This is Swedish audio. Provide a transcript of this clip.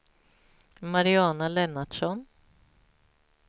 Mariana Lennartsson